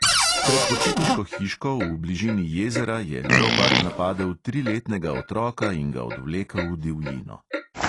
Pred počitniško hiško v bližini jezera je leopard napadel triletnega otroka in ga odvlekel v divjino.